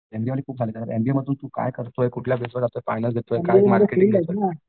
MBA खूप MBA तू काय करतोय कुठल्या जातोय फायनल